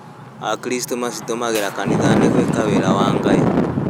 Akristo macitũmagĩra kanithainĩ gwĩka wĩra wa Ngai.